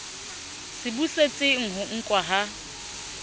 se busetseng ho nkwa ha